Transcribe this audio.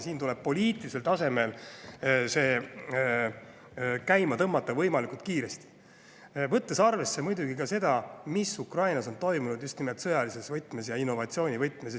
Siin tuleb see poliitilisel tasemel käima tõmmata võimalikult kiiresti, võttes arvesse muidugi ka seda, mis Ukrainas on toimunud just nimelt sõjaliselt ja innovatsiooni võtmes.